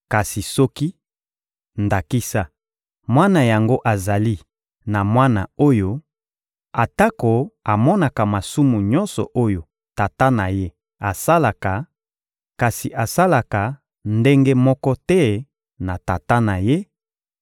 Kasi soki, ndakisa, mwana yango azali na mwana oyo, atako amonaka masumu nyonso oyo tata na ye asalaka, kasi asalaka ndenge moko te na tata na ye: